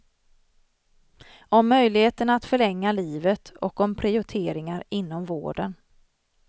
Om möjligheten att förlänga livet och om prioriteringar inom vården.